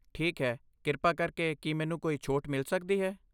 ਠੀਕ ਹੈ, ਕਿਰਪਾ ਕਰਕੇ ਕੀ ਮੈਨੂੰ ਕੋਈ ਛੋਟ ਮਿਲ ਸਕਦੀ ਹੈ?